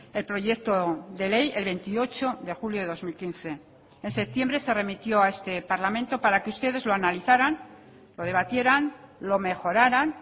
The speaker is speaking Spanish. el proyecto de ley el veintiocho de julio de dos mil quince en septiembre se remitió a este parlamento para que ustedes lo analizaran lo debatieran lo mejoraran